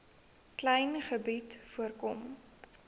klein gebied voorkom